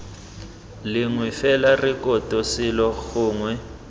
lengwe fela rekoto selo gongwe